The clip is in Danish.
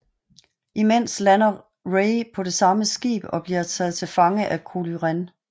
Imens lander Rey på det samme skib og bliver taget til fange af Kylo Ren